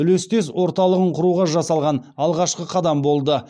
үлестес орталығын құруға жасалған алғашқы қадам болды